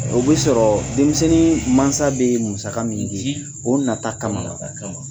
O bɛ sɔrɔ denmisɛnnin mansa bɛ musaka min di o nata kama.